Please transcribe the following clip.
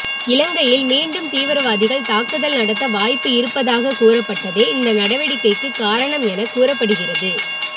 இலங்கையில் மீண்டும் தீவிரவாதிகள் தாக்குதல் நடத்த வாய்ப்பு இருப்பதாக கூறப்பட்டதே இந்த நடவடிக்கைக்கு காரணம் என கூறப்படுகிறது